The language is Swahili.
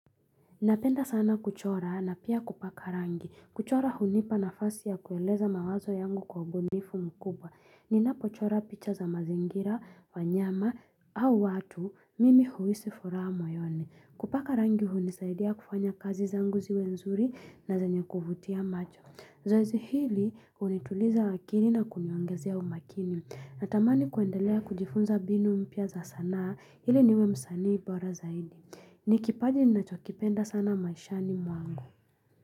Napenda sana kuchora na pia kupaka rangi. Kuchora hunipa nafasi ya kueleza mawazo yangu kwa ubunifu mkubwa. Ninapochora picha za mazingira, wanyama, au watu, mimi huisi furaha moyoni. Kupaka rangi hunisaidia kufanya kazi zangu ziwe nzuri na zenye kuvutia macho. Zoezi hili hunituliza akili na kuniongezea umakini. Natamani kuendelea kujifunza binu mpya za sanaa hili niwe msanii bora zaidi. Ni kipaji ninachokipenda sana maishani mwangu.